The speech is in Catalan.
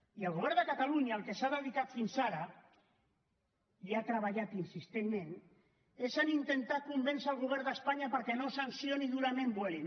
i el govern de catalunya al que s’ha dedicat fins ara i ha treballat insistentment és a intentar convèncer el govern d’espanya perquè no sancioni durament vueling